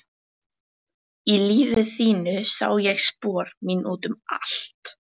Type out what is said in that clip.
Í lífi þínu sá ég spor mín út um allt.